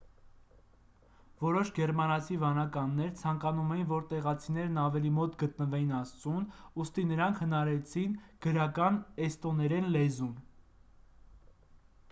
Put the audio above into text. որոշ գերմանացի վանականներ ցանկանում էին որ տեղացիներն ավելի մոտ գտնվեին աստծուն ուստի նրանք հնարեցին գրական էստոներեն լեզուն